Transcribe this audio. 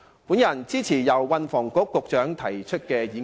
我支持由運輸及房屋局局長提出的議案。